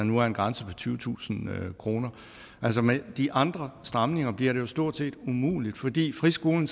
nu er en grænse på tyvetusind kroner altså med de andre stramninger bliver det jo stort set umuligt fordi friskolen